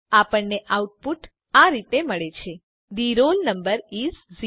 આપણને આઉટપુટ આ રીતે મળે છે થે રોલ નંબર ઇસ 0